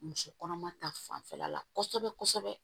Muso kɔnɔma ta fanfɛla la kɔsɛbɛ kɔsɛbɛ